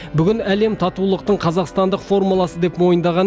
бүгін әлем татулықтың қазақстандық формуласы деп мойындаған